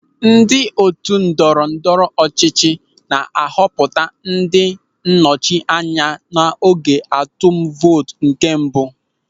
Ndị otu ndọrọ ndọrọ ọchịchị na-ahọpụta ndị nnọchiteanya n'oge atụm vootu nke mbụ.